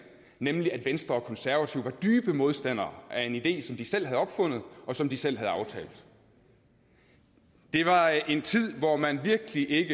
nemlig at venstre og konservative var dybe modstandere af en idé som de selv havde opfundet og som de selv havde aftalt det var en tid hvor man virkelig ikke